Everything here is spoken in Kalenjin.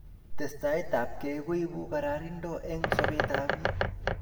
testai ab kei koibu karanindo eng' sobet ab piik